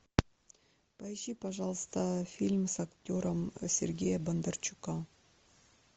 поищи пожалуйста фильм с актером сергея бондарчука